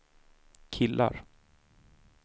killar